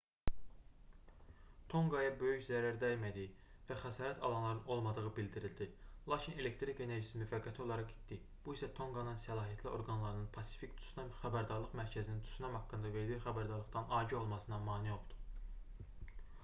tonqaya böyük zərər dəymədiyi və xəsarət alanların olmadığı bildirildi lakin elektrik enerjisi müvəqqəti olaraq itdi bu isə tonqanın səlahiyyətli orqanlarının pasifik tsunami xəbərdarlıq mərkəzinin tsunami haqqında verdiyi xəbərdarlıqdan agah olmasına mane oldu